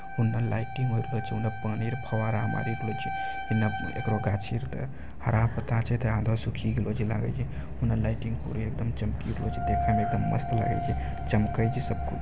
उन्ने लाइटिंग होय रहले छै उन्नेे पानी के फवारा मारी रहल छै इन्ने ऐकरो गाछी आर के हरा पत्ता छै